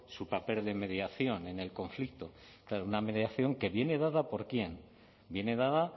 su papel de mediación en el conflicto claro una mediación que viene dada por quién viene dada